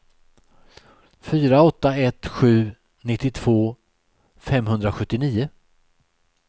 fyra åtta ett sju nittiotvå femhundrasjuttionio